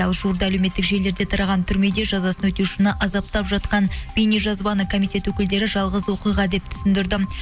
ал жуырда әлеуметтік желілерде тараған түрмеде жазасын өтеушіні азаптап жатқан бейнежазбаны комитет өкілдері жалғыз оқиға деп түсіндірді